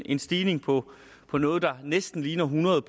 en stigning på på noget der næsten ligner hundrede